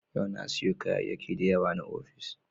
Yau na siyo kayayyakin da yawa na ofis.